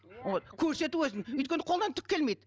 вот көрсету өзін өйткені қолынан түк келмейді